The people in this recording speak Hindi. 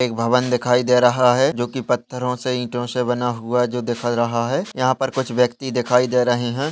एक भवन दिखाई दे रहा है जो की पत्थरों से ईंटों से बना हुआ है जो दिख रहा है यहाँ पर कुछ व्यक्ति दिखाई दे रहे हैं।